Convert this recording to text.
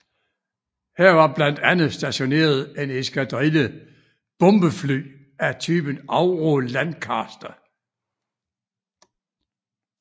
Her var blandt andet stationeret en eskadrille bombefly af typen Avro Lancaster